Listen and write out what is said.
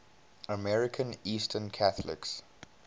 american eastern catholics